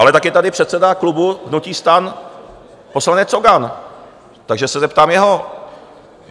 Ale tak je tady předseda klubu hnutí STAN poslanec Cogan, takže se zeptám jeho.